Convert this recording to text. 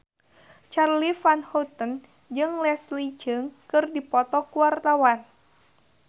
Charly Van Houten jeung Leslie Cheung keur dipoto ku wartawan